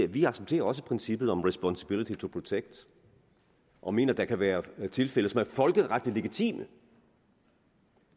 vi accepterer også princippet om responsibility to protect og mener at der kan være tilfælde som er folkeretligt legitime